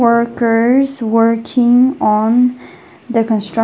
workers working on the constra--